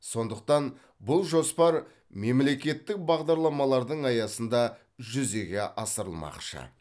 сондықтан бұл жоспар мемлекеттік бағдарламалардың аясында жүзеге асырылмақшы